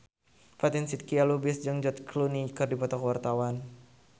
Fatin Shidqia Lubis jeung George Clooney keur dipoto ku wartawan